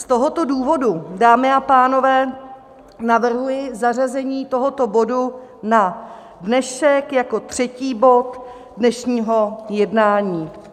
Z tohoto důvodu, dámy a pánové, navrhuji zařazení tohoto bodu na dnešek jako třetí bod dnešního jednání.